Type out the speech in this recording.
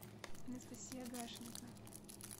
анастасия гашенко